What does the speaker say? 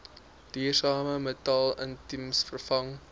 duursame metaalitems vervang